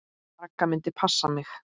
Ragga myndi passa mig.